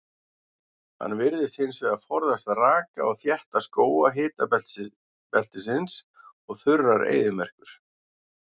Hann virðist hins vegar forðast raka og þétta skóga hitabeltisins og þurrar eyðimerkur.